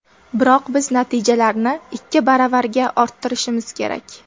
Biroq biz natijalarni ikki baravarga orttirishimiz kerak.